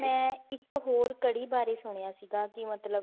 ਮੈਂ ਇੱਕ ਹੋਰ ਕੜੀ ਬਾਰੇ ਸੁਣਿਆ ਸੀਗਾ ਕਿ